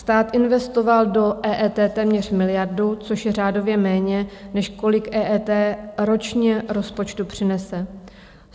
Stát investoval do EET téměř miliardu, což je řádově méně, než kolik EET ročně rozpočtu přinese.